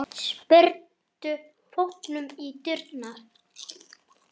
Spyrnir fótunum í dyrnar.